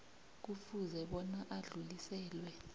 kufuze bona adluliselwe